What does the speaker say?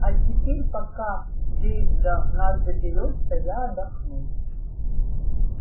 а теперь пока дейв до нас доберётся я отдохну